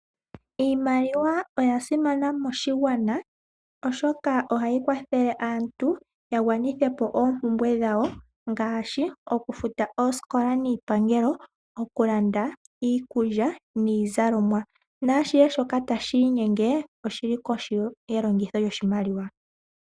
Iimaliwa oya simana moshigwana, oshoka ohayi kwathele aantu yagwanithe po oompumbwe dhawo. Ngaashi okufuta oosikola niipangelo, okulanda iikulya niizalomwa naashihe shoka tashi inyenge oshili kohi yelongitho lyoshimaliwa.